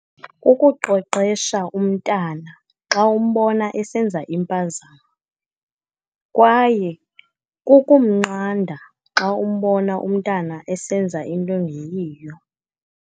Kukuqweqesha umntana xa umbona esenza impazamo, kwaye kukumnqanda xa umbona umntana esenza into engeyiyo.